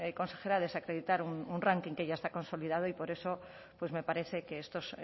consejera desacreditar un ranking que ya está consolidado y por eso pues me parece que estos